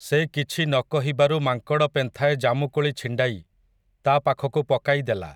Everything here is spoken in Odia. ସେ କିଛି ନ କହିବାରୁ ମାଙ୍କଡ଼ ପେନ୍ଥାଏ ଜାମୁକୋଳି ଛିଣ୍ଡାଇ, ତା ପାଖକୁ ପକାଇଦେଲା ।